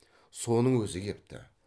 соның өзі кепті